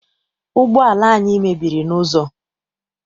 Ụgbọala anyị mebiri n'ụzọ.